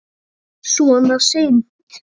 Svona seint?